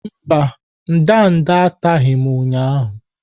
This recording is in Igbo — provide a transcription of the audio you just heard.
Mba, ndanda ataghị m ụnyahụ.